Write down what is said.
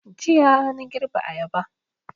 Jiya na girbe ayaba